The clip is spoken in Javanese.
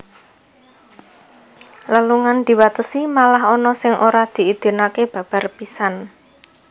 Lelungan diwatesi malah ana sing ora diidinaké babar pisan